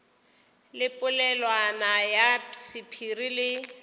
le polelwana ya sephiri le